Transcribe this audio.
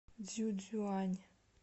цзюцюань